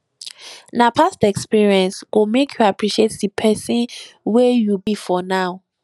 na past experience go make you appreciate di pesin wey you be for now